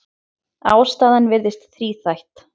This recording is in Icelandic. Ástæðan virðist þríþætt.